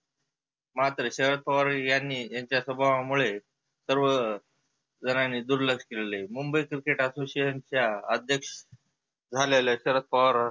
मात्र शरद पवार यांनी त्याच्या स्वभावामुळे सर्व जनायनी दुर्लक्ष केलेलं आहे. मुंबई cricket association च्या अध्यक्ष झालेल्या शरद पवार